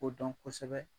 O dɔn kosɛbɛ